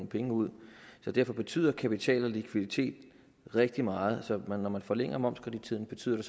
penge ud derfor betyder kapital og likviditet rigtig meget så når man forlænger momskredittiden betyder